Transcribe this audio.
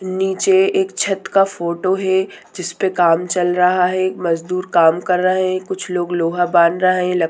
नीचे एक छत्त का फोटो है जिसपे काम चल रहा है मजदूर काम कर रहे है कुछ लोग लोहा बांध रहे है लक--